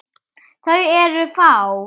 Þau eru fá.